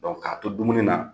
ka to dumuni na